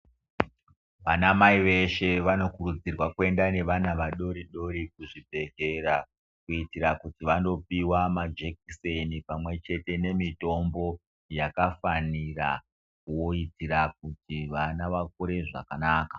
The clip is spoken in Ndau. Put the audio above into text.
Vana Mai veshe vanokurudzirwa kuemda nevana kuzvibhendlera kuitira kuti vandopiwa majekiseni pamwechete nemitombo yakafanira kuitira kuti vana vakure zvakanaka.